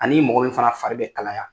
Ani mɔgɔ min fana fari bɛ kalaya.